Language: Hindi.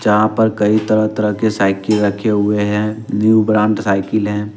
जहां पर कई तरह तरह के साइकिल रखे हुए हैं न्यू ब्रांड साइकिल हैं।